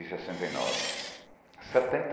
Em sessenta e nove, setenta